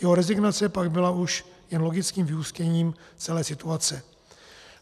Jeho rezignace pak byla už jen logickým vyústěním celé situace.